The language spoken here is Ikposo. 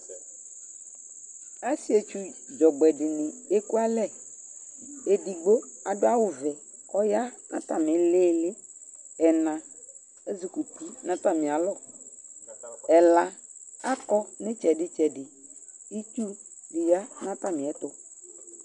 Asietsu dzɔgbɛ dɩnɩ ekualɛ: edigbo adʋ awʋvɛ k'ɔya n'atamɩ ɩɩlɩɩlɩb; ɛna ezikuti n'atamɩalɔ , ɛla akɔ n'ɩtsɛdɩ ɩtsɛdɩ Itsudɩ ya n'atamɩɛtʋ